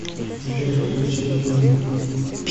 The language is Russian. сбер включи ниман